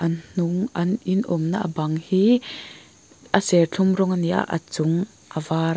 a hnung an in awm na a bang hi a serthlum rawng a ni a a chung a vâr.